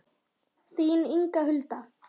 Þín Inga Hulda.